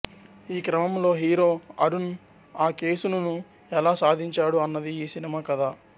ఈ క్రమంలో హీరో అరుణ్ అ కేసును ఎలా సాధించాడు అన్నది ఈ సినిమా కథ